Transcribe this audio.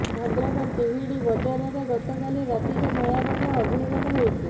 ଭଦ୍ରକ ତିହିଡି ବଜାରରେ ଗତକାଲି ରାତିରେ ଭୟାବହ ଅଗ୍ନିକାଣ୍ଡ ହୋଇଛି